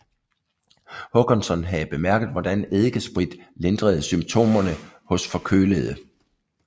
Håkansson havde bemærket hvordan eddikesprit lindrede symptomerne hos forkølede